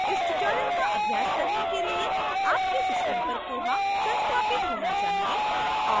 इस tutorial का अभ्यास करने के लिए आपके system पर koha संस्थापित होना चाहिए